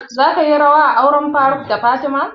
Za ka yi rawa a auren faruk da fatima?